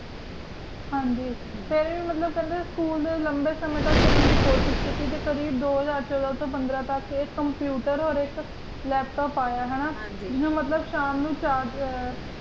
ਖਾਣ ਦੇ ਜਿੰਦੂ ਵੱਲੋਂ ਸਕੂਲ ਦੇ ਲੰਬੇ ਸਮੇਂ ਤੱਕ ਕਰਨ ਦੀ ਕੋਸ਼ਿਸ਼ ਕੀਤੀ ਅਤੇ computer laptope ਆਇਆ ਹੈ ਇਨ੍ਹਾਂ ਹਾਂ ਜੀ ਮਤਲਬ ਸ਼ਾਮ ਨੂੰ